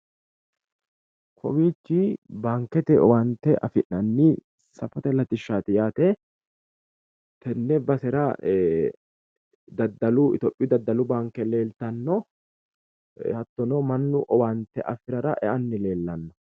Kowichi baankete owaante afi'nanni safote latishati yaate, tene daddallu baankera mannu owaante afirarra eani afamano